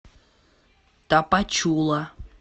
тапачула